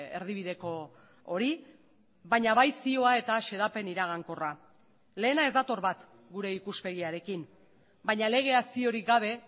erdibideko hori baina bai zioa eta xedapen iragankorra lehena ez dator bat gure ikuspegiarekin baina legea ziorik gabe